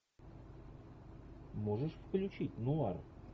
можешь включить нуар